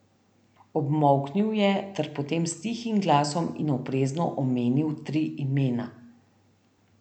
Obmolknil je ter potem s tihim glasom in oprezno omenil tri imena.